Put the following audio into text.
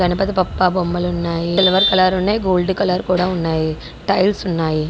గణపతి బప్పా బొమ్మలు ఉన్నాయి silver colour ఉన్నాయి గోల్డ్ కలర్ కూడా ఉన్నాయి టైల్స్ ఉన్నాయి.